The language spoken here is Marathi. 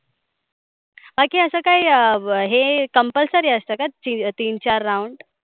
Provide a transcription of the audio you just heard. बाकी असं काही हे compulsory असत का? ती तीन चार round